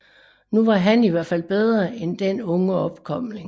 Nu var han i hvert fald bedre end den unge opkomling